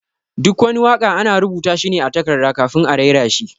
Duk wani waka ana rubuta shi ne a takarda kafin a raira shi.